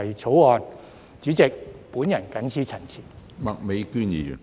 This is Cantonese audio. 主席，我謹此陳辭。